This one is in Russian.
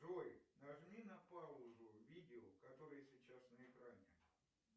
джой нажми на паузу видео которое сейчас на экране